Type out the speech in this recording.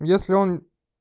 если он